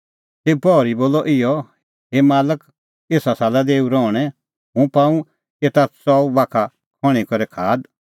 तेऊ पहरी बोलअ इहअ हे मालक एसा साला दै एऊ रहणैं हुंह पाऊं एता च़ऊ बाखा खण्हीं करै खाद